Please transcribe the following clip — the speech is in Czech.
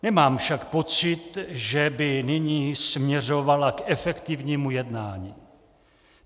Nemám však pocit, že by nyní směřovala k efektivnímu jednání.